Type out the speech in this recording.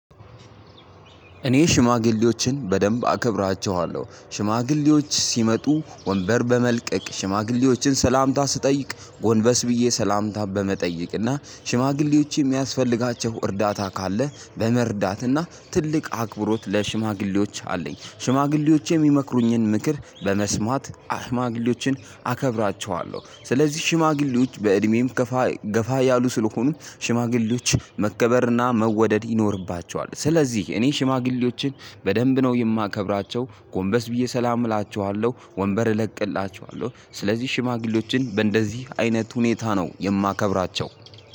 እኔ ሽማግሌዎችን በደንብ አከብራቸዋለሁ። ሽማግሌዎች ሲመጡ ወንበር በመልቀቅ፤ ሽማግሌዎችን ሰላምታ ስጠይቅ ጎንበስ ብዬ ሰላምታ በመጠየቅ እና ሽማግሌዎች የሚያስፈልጋቸው እርዳታ ካለ በመርዳትና ትልቅ አክብሮት ለሽማግሌዎች አለኝ። ሽማግሌዎች የሚመክሩኝን ምክር በመስማት ሽማግሌዎችን አከብራቸዋለሁ። ስለዚህ ሽማግሌዎች በእድሜም ገፋ ገፋ ያሉ ስለሆኑ ሽማግሌዎች መከበርና መወደድ ይኖርባቸዋል። ስለዚህ እኔ ሽማግሌዎችን በደንብ ነው የማከብራቸው፤ ጎንበስ ብዬ ሰላም እላችኋለሁ፤ ወንበር እለቅላችኋለሁ። ስለዚህ ሽማግሌዎችን በእንደዚህ አይነት ሁኔታ ነው የማከብራቸው።